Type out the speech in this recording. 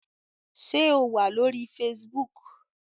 Ṣé o wà lórí Facebook?